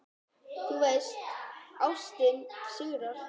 Þú veist: Ástin sigrar.